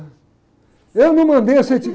Eu não mandei você